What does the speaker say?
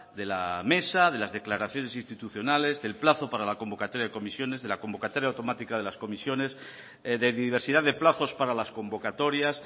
de la mesa de las declaraciones institucionales del plazo para la convocatoria de comisiones de la convocatoria automática de las comisiones de diversidad de plazos para las convocatorias